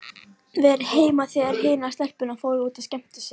Verið heima þegar hinar stelpurnar fóru út að skemmta sér.